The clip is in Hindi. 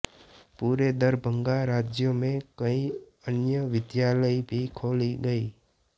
पूरे दरभंगा राज में कई अन्य विद्यालय भी खोले गए